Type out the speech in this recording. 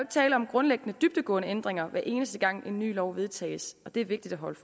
tale om grundlæggende dybtgående ændringer hver eneste gang en ny lov vedtages det er vigtigt at holde